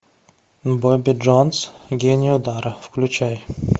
бобби джонс гений удара включай